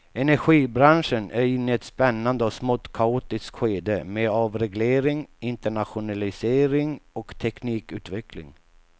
Energibranschen är inne i ett spännande och smått kaotiskt skede med avreglering, internationalisering och teknikutveckling.